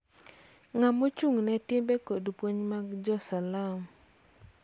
Ma ochung�ne timbe kod puonj mag Jo-Salam.